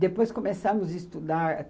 Depois começamos a estudar.